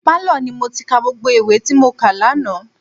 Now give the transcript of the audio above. Pálọ̀ ni mo ti ka gbogbo ìwé tí mo kà lánàá.